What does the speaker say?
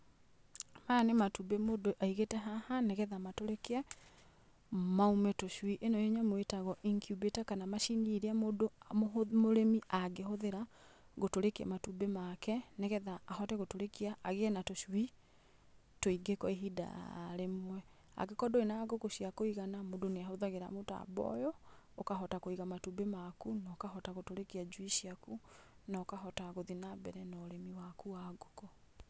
Maya nĩ matumbĩ mũndũ aigĩte haha nĩgetha matũrĩkie maume tũcui. Ĩno nyamũ ĩtagwo incubator kana macini ĩrĩa mũndũ mũrĩmi angĩhũthĩra gũtũrĩkia matumbĩ make nĩgetha ahote gũtũrĩkia agĩe na tũcui tũingĩ kwa ihinda rĩmwe. Angĩkorwo ndũrĩ na ngũkũ cia kũigana mũndũ nĩahũthagĩra mũtambo ũyũ ũkahota kũiga matumbĩ maku na ũkahota gũtũrĩkia njui ciaku na ũkahota gũthiĩ na mbere na ũrĩmi waku wa ngũkũ.